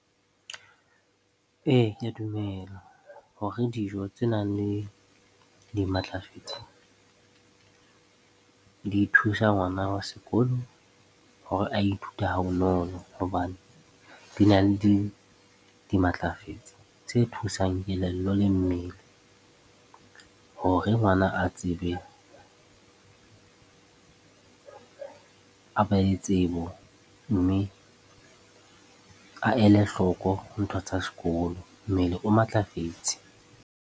Ee, ke a dumela hore dijo tse nang le dimatlafetse di thusa ngwana wa sekolo hore a ithute ha bonolo. Hobane dina le dimatlafetse tse thusang kelello le mmele hore ngwana a tsebe, a be le tsebo mme a ele hloko ntho tsa sekolo. Mmele o matlafetse